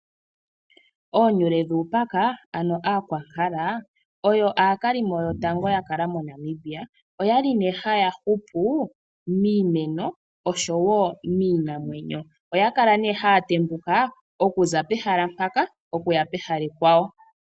Oonyule dhuupaka ano Aakwankala oyo aakalimo yotango ya kala moNamibia. Oya li nee haya hupu miimeno osho wo miinamwenyo. Oya kala haya tembuka okuza pehala mpaka okuya pehala ekwawo.